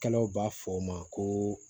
Kɛlɛw b'a fɔ o ma ko